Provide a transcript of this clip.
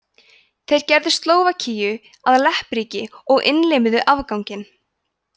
þeir gerðu slóvakíu að leppríki og innlimuðu afganginn